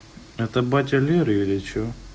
это батя леры или что